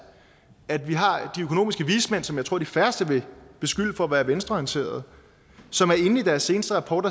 at vi har de økonomiske vismænd som jeg tror de færreste vil beskylde for at være venstreorienterede som i deres seneste rapport